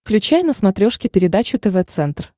включай на смотрешке передачу тв центр